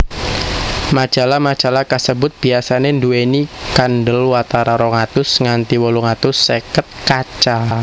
Majalah majalah kasebut biasané nduwèni kandelwatara rong atus nganti wolung atus seket kaca